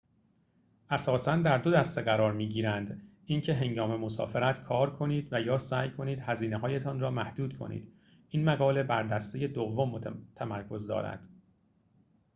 اساساً در دو دسته قرار می‌گیرند اینکه هنگام مسافرت کار کنید و یا سعی کنید هزینه‌هایتان را محدود کنید این مقاله بر دسته دوم تمرکز دارد